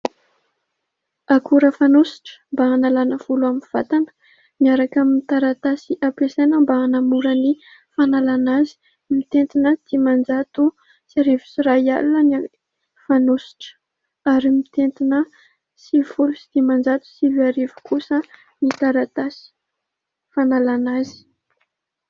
Akora fanosotra mba hanalàna volo amin'ny vatana miaraka amin'ny taratasy ampiasaina mba hanamora ny fanalàna azy. Mitentina dimanjato sy arivo sy iray alina ny fanosotra ary mitentina sivy folo folo sy dimanjato sy arivo kosa ny taratasy fanalàna azy.